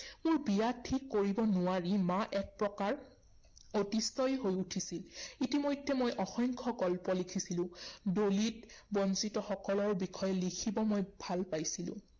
মোৰ বিয়া ঠিক কৰিব নোৱাৰি মা একপ্ৰকাৰ অতিষ্ঠই হৈ উঠিছিল। ইতিমধ্যে মই অসংখ্য গল্প লিখিছিলো। দলিত, বঞ্চিতসকলৰ বিষয়ে লিখিব মই ভাল পাইছিলো।